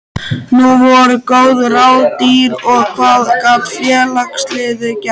Nú voru góð ráð dýr og hvað gat félagið gert?